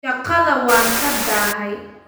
Shaqada waan ka daahay